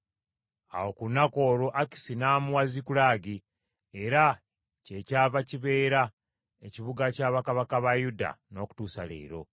Awo ku lunaku olwo, Akisi n’amuwa Zikulagi, era kyekyava kibeera ekibuga kya bakabaka ba Yuda, n’okutuusa leero.